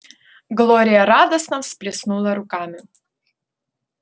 глория радостно всплеснула руками